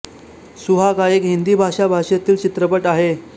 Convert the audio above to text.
सुहाग हा एक हिंदी भाषा भाषेतील चित्रपट आहे